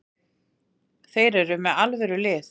Þeir eru með alvöru lið.